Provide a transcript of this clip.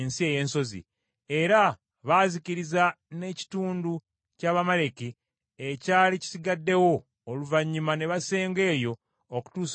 Era baazikiriza n’ekitundu ky’Abamaleki ekyali kisigaddewo, oluvannyuma ne basenga eyo, okutuusa olunaku lwa leero.